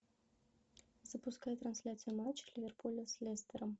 запускай трансляцию матча ливерпуля с лестером